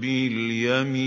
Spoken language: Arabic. بِالْيَمِينِ